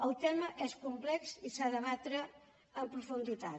el tema és complex i s’ha de debatre en profunditat